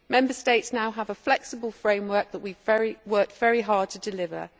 Member States now have a flexible framework that we have worked very hard to deliver.